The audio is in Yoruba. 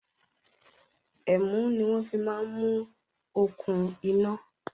Ẹ̀mú ni wọn fi máa ń mú okùn iná